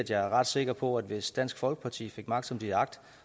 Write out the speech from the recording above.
jeg er ret sikker på at hvis dansk folkeparti fik magt som de har agt